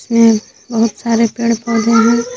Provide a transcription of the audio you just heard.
यहां बहुत सारे पेड़ पौधे भी--